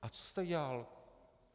A co jste dělal?